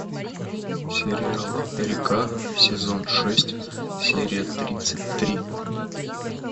сериал река сезон шесть серия тридцать три